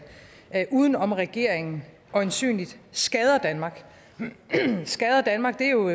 uden om regeringen øjensynligt skader danmark skader danmark er jo